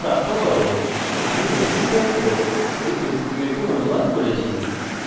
দ্বিতীয় অংশে যোগদান করুন আমি কৌশিক দত্ত টিউটোরিয়ালটি অনুবাদ করেছি